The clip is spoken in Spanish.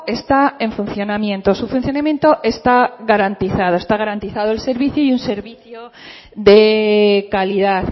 está en funcionamiento su funcionamiento está garantizado está garantizado el servicio y un servicio de calidad